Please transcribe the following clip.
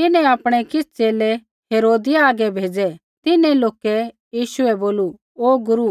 तिन्हैं आपणै किछ़ च़ेले हेरोदिया हागै भेज़ै तिन्हैं लोकै यीशु बै बोलू ओ गुरू